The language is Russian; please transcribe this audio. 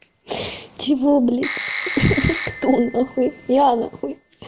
чего блять кто нахуй я нахуй